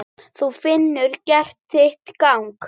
Þú hefur gert þitt gagn.